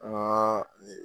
Aa